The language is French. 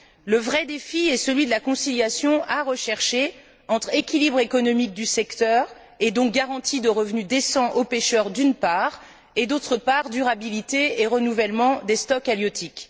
Le vrai défi est celui de la conciliation à rechercher entre équilibre économique du secteur, et donc garantie de revenus décents aux pêcheurs, d'une part, et, d'autre part, durabilité et renouvellement des stocks halieutiques.